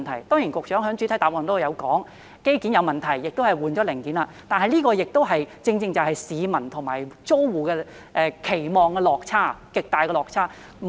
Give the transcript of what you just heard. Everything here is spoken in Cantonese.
當然，局長在主體答覆中已提到，是機件問題，亦已更換零件，但這亦正是市民和租戶的期望的落差、極大的落差。